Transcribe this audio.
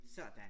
Sådan